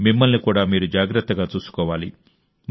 మిమ్మల్ని కూడా మీరు జాగ్రత్తగా చూసుకోవాలి